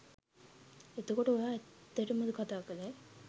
එතකොට ඔයා ඇත්තටම කතා කළේ